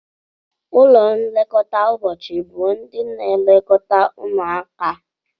Ụlọ nlekọta ụbọchị bụ ndị na-elekọta ụmụaka.